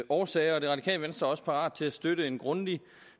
årsager og det radikale venstre er også parat til at støtte en grundig